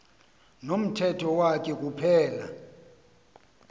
nomthetho wakhe kuphela